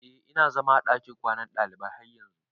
Eh ina zama a dakin kwanan dalibai har yanzun.